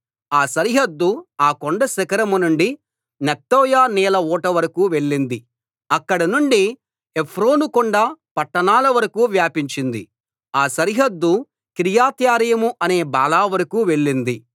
ఆ సరిహద్దు ఆ కొండ శిఖరం నుండి నెఫ్తోయ నీళ్ల ఊట వరకూ వెళ్ళింది అక్కడ నుండి ఏఫ్రోనుకొండ పట్టణాల వరకూ వ్యాపించింది ఆ సరిహద్దు కిర్యత్యారీం అనే బాలా వరకూ వెళ్ళింది